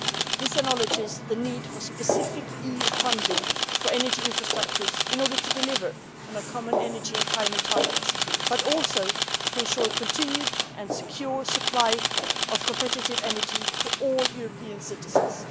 This acknowledges the need for specific EU funding for energy infrastructures in order to deliver on our common energy and climate targets but also to ensure continued and secure supply of competitive energy to all European citizens.